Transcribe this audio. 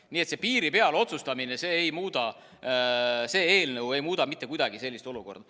Nii et see piiri peal otsustamine, see eelnõu ei muuda mitte kuidagi seda olukorda.